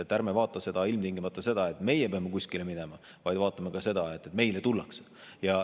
Ärme vaata ilmtingimata seda, et meie peame kuskile minema, vaid vaatame ka seda, et meile tullakse.